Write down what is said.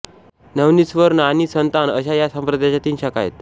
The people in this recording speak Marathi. नवनीतस्वर्ण आणि संतान अशा या संप्रदायाच्या तीन शाखा आहेत